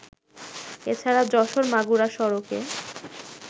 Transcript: এছাড়া যশোর-মাগুরা সড়কে